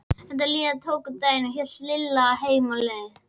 Þegar líða tók á daginn hélt Lilla heim á leið.